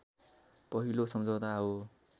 पहिलो सम्झौता हो